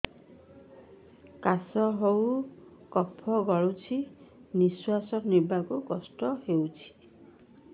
କାଶ ହେଇ କଫ ଗଳୁଛି ନିଶ୍ୱାସ ନେବାକୁ କଷ୍ଟ ହଉଛି